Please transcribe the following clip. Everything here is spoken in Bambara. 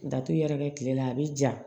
Datugu yɛrɛkɛ kile la a bi ja